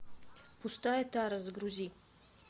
пустая тара загрузи